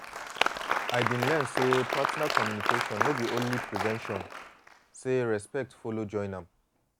i been learn say partner communication no be only prevention say respect follow join am.